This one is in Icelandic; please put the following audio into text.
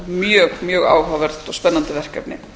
mjög áhugavert og spennandi verkefni